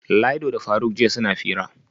Laido da faruk jiya suna hira